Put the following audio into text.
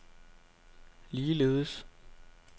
ligeledes